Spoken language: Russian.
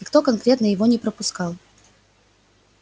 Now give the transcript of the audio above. никто конкретно его не пропускал